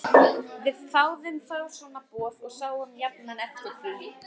Við þáðum fá svona boð og sáum jafnan eftir því.